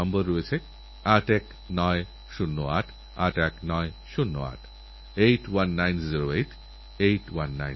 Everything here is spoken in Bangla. সোনাল নিজেই এগ্রিকালচারালগ্র্যাজুয়েট এই বুদ্ধি ওই দিয়েছিল বিয়েতে আমের চারা উপহার দেওয়া দেখুনপ্রকৃতির প্রতি ভালোবাসা কত সুন্দরভাবে ফুটে উঠেছে